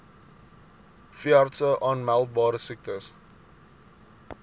veeartse aanmeldbare siektes